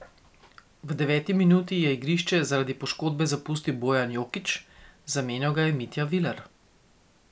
V deveti minuti je igrišče zaradi poškodbe zapustil Bojan Jokić, zamenjal ga je Mitja Viler.